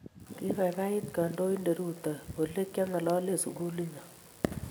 Kibaibait kandoindet Ruto olekiangalale sikuli nyo.